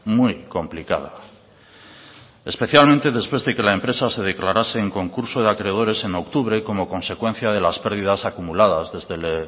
muy complicada especialmente después de que la empresa se declarase en concurso de acreedores en octubre como consecuencia de las pérdidas acumuladas desde el